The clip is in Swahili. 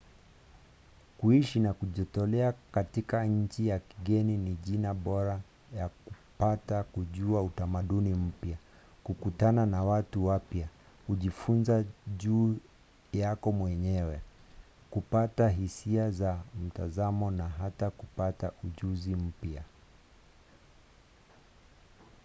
kuishi na kujitolea katika nchi ya kigeni ni njia bora ya kupata kujua utamaduni mpya kukutana na watu wapya kujifunza juu yako mwenyewe kupata hisia za mtazamo na hata kupata ujuzi mpya